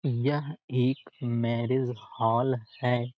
यह एक marriage hall है।